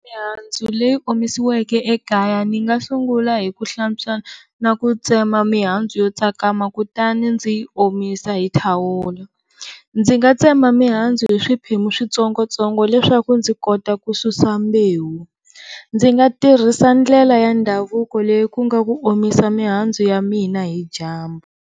Mihandzu leyi omisiweke ekaya ni nga sungula hi ku hlantswa na ku tsema mihandzu yo tsakama kutani ndzi yi omisa hi thawula. Ndzi nga tsema mihandzu hi swiphemu switsongotsongo leswaku ndzi kota ku susa mbewu, ndzi nga tirhisa ndlela ya ndhavuko leyi ku nga ku omisa mihandzu ya mina hidyambu.